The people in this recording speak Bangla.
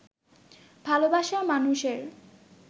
ভালোবাসার মানুষের